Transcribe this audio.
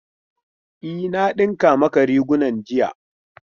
E, na dinka maka rigunan jiya